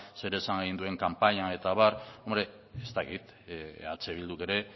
zer esan egin duen kanpainan eta abar ez dakit eh bilduk ere